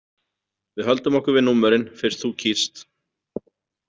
Við höldum okkur við númerin, fyrst þú kýst.